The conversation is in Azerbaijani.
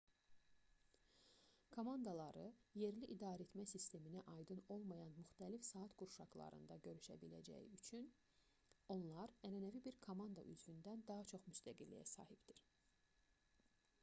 komandaları yerli idarəetmə sisteminə aydın olmayan müxtəlif saat qurşaqlarında görüşə biləcəyi üçün onlar ənənəvi bir komanda üzvündən daha çox müstəqilliyə sahibdir